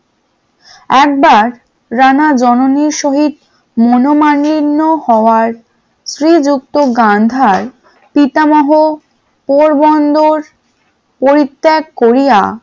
একবার রানার জননীর সহিত মনোমালিন্য হওয়ায় শ্রীযুক্ত গান্ধার পিতামহ পোরবন্দর পরিত্যাগ করিয়া,